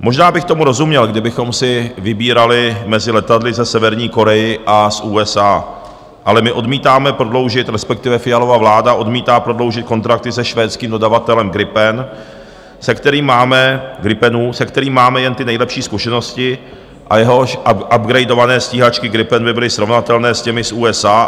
Možná bych tomu rozuměl, kdybychom si vybírali mezi letadly ze Severní Koreje a z USA, ale my odmítáme prodloužit, respektive Fialova vláda odmítá prodloužit, kontrakty se švédským dodavatelem gripenů, se kterými máme jen ty nejlepší zkušenosti a jehož upgradované stíhačky Gripen by byly srovnatelné s těmi z USA.